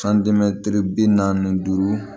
bi naani ni duuru